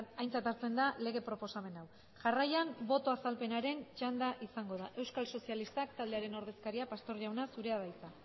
aintzat hartzen da lege proposamen hau jarraian boto azalpenaren txanda izango da euskal sozialistak taldearen ordezkaria pastor jauna zurea da hitza